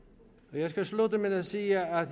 jeg skal slutte med at sige at